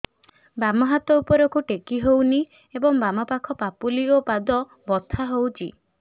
ବାମ ହାତ ଉପରକୁ ଟେକି ହଉନି ଏବଂ ବାମ ପାଖ ପାପୁଲି ଓ ପାଦ ବଥା ହଉଚି